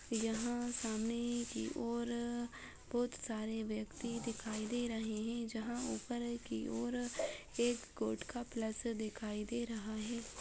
यहाँ सामने की और बहुत सारे व्यक्ति दिखाई दे रहे है जहाँ उपर की योर एक कोर्ट का प्लस दिखाई दे रहा है।